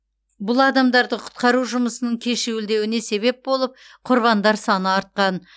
бұл адамдарды құтқару жұмысының кешуілдеуіне себеп болып құрбандар саны артқан